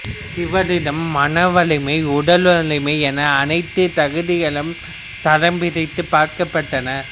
இவரிடம் மனவலிமை உடல் வலைமை என அனைத்துத் தகுதிகளும் தரம் பிரித்துப் பார்க்கப்பட்டன